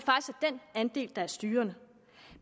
andel der er styrende